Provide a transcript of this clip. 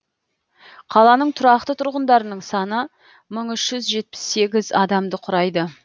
қаланың тұрақты тұрғындарының саны мың үш жүз жетпіс сегіз адамды құрайды